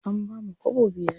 An bamu kwabo biyar.